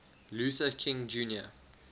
luther king jr